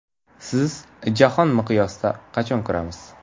Sizni Jahon miqyosida qachon ko‘ramiz?